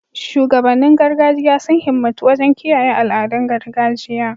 Shugabannin gargajiya sun himmatu wajen kiyaye al'adun gargajiya